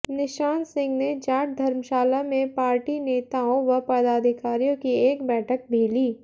निशान सिंह ने जाट धर्मशाला में पार्टी नेताओं व पदाधिकारियों की एक बैठक भी ली